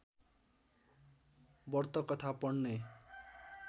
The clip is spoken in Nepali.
व्रतकथा पढ्ने